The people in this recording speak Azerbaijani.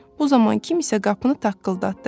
Bu zaman kimsə qapını taqqıldatdı.